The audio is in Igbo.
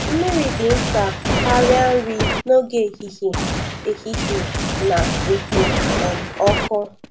Mmiri dị mkpa karịa nri n'oge ehihie ehihie na-ekpo um ọkụ.